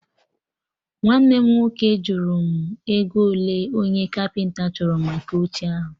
Nwanne m nwoke jụrụ m ego ole onye Kapịnta chọrọ maka oche ahụ